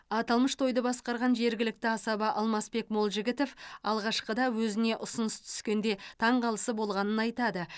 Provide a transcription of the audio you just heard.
аталмыш тойды басқарған жергілікті асаба алмасбек молжігітов алғашқыда өзіне ұсыныс түскенде таңғалысы болғанын айтады